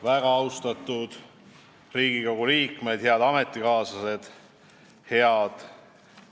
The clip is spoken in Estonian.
Väga austatud Riigikogu liikmed, head ametikaaslased!